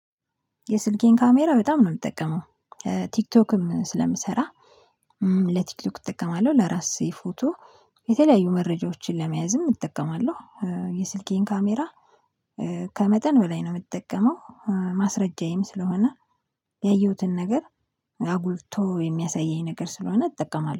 የስልኬን ካሜራ በጣም ነው የምጠቀመው። ቲክቶክም ስለምሰራ ለቲክቶክ እጠቀማለሁ ለራሴ ፎቶ የተለያዩ መረጃዎችን ለመያዝም እጠቀማለሁ። የስልኬን ካሜራ። ከመጠን በላይ ነው የምጠቀመው። ማስረጃዬም ስለሆነ ያየሁትን ነገር አጉልቶ የሚያሳየኝ ነገር ስለሆነ እጠቀማለሁ